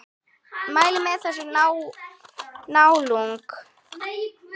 Mæli með þessari nálgun!